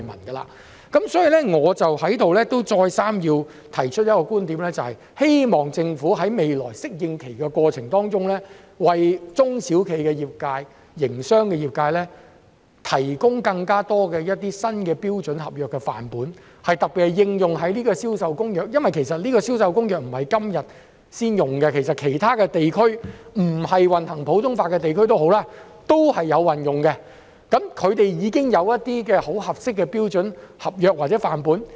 因此，我在此再三提出一個觀點，就是希望政府在未來的適應過程中，為中小企及營商的業界提供更多新的標準合約範本，特別是適用於《銷售公約》的範本，因為它不是今天才出現，其他地區、即使並非行普通法的地區都有採用，他們已經有一些很合用的標準合約或範本。